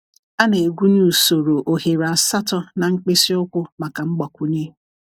A na-egwunye usoro oghere asatọ na mkpịsị ụkwụ maka mgbakwunye.